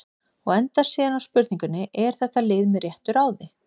Og endar síðan á spurningunni: Er þetta lið með réttu ráði?